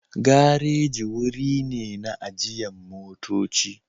Gareji wuri ne na ajiyan motocci.